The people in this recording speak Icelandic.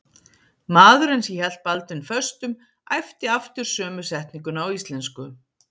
Maðurinn sem hélt Baldvin föstum æpti aftur sömu setninguna á íslensku.